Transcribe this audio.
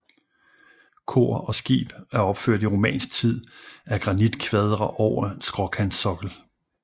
Kor og skib er opført i romansk tid af granitkvadre over skråkantsokkel